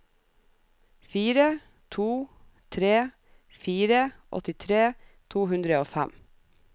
fire to tre fire åttitre to hundre og fem